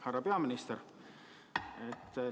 Härra peaminister!